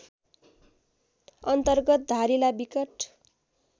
अन्तर्गत धारिला बिकट